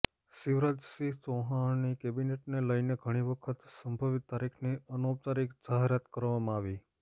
શિવરાજસિંહ ચૌહાણની કેબિનેટને લઇને ઘણી વખત સંભવિત તારીખની અનૌપચારિક જાહેરાત કરવામાં આવી